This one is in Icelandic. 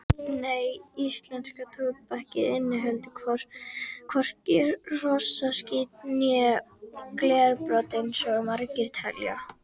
Nei, íslenska tóbakið inniheldur hvorki hrossaskít né glerbrot eins og margir telja.